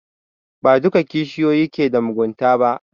Ba duka kishiyoyi ke da mugunta ba